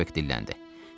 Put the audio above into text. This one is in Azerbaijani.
Starbek dilləndi.